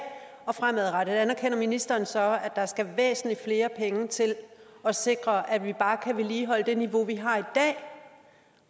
og fremadrettet anerkender ministeren så at der skal væsentlig flere penge til at sikre at vi bare kan vedligeholde det niveau vi har i dag